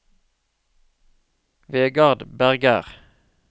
Vegard Berger